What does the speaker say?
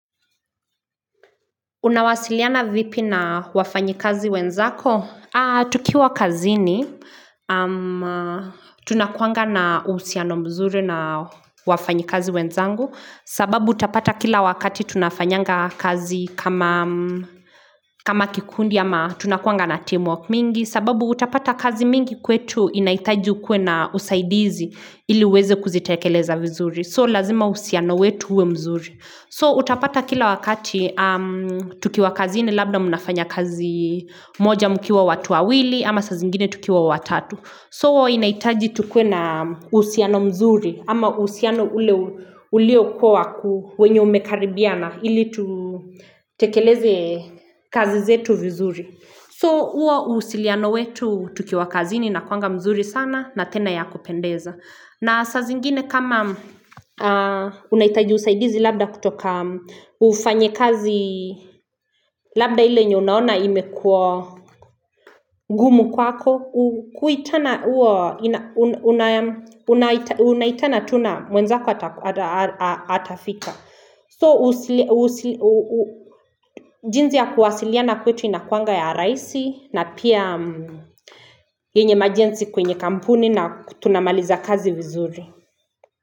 Unawasiliana vipi na wafanyi kazi wenzako? Tukiwa kazini, tunakuanga na uhusiano mzuri na wafanyi kazi wenzangu sababu utapata kila wakati tunafanyanga kazi kama kikundi ama tunakuanga na teamwork mingi sababu utapata kazi mingi kwetu inahitaji ukuwe na usaidizi ili uweze kuzitekeleza vizuri. So lazima uhusiano wetu uwe mzuri. So utapata kila wakati tukiwa kazini labda mnafanya kazi moja mkiwa watu wawili ama sa zingine tukiwa watatu. So inahitaji tukue na uhusiano mzuri ama uhusiano ule ulio kuwa umekaribiana ili tutekeleze kazi zetu vizuri. So huwo usiliano wetu tukiwa kazini inakuanga mzuri sana na tena ya kupendeza. Na saa zingine kama unahitaji usaidizi labda kutoka ufanyi kazi labda ile yenye unaona imekuwa ngumu kwako, Unaitana tu na mwenzako atafika. So, jinsi ya kuwasiliana kwetu inakuanga ya rahisi na pia yenye majenzi kwenye kampuni na tunamaliza kazi vizuri.